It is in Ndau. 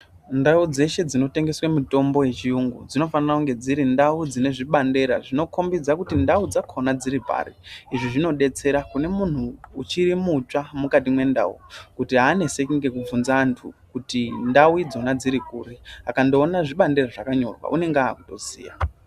Ndau dzeshe dzinotengeswe mitombo yechiyungu dzinofane kunge dziri ndau dzine zvibandela zvinokombidza kuti ndau dzakona dziri pari. Izvi zvinobetsera kune muntu uchiri mutsva mukati mendau kuti haaneseki ngekubvunza antu kuti ndau idzona dziri kuri, akandoona zvibandela zvakanyorwa unenge akutoziya.